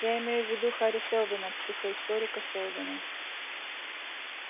я имею в виду хари сэлдона психоисторика сэлдона